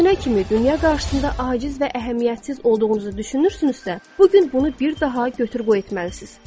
Əgər bu günə kimi dünya qarşısında aciz və əhəmiyyətsiz olduğunuzu düşünürsünüzsə, bu gün bunu bir daha götür-qoy etməlisiniz.